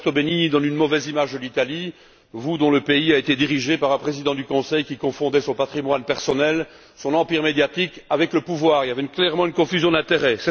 Roberto Benigni donne une mauvaise image de l'Italie. Votre pays, l'Italie, a été dirigé par un président du Conseil qui confondait son patrimoine personnel, son empire médiatique avec le pouvoir. Il y avait clairement une confusion d'intérêts.